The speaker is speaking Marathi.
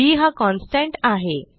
बी हा कॉन्स्टंट आहे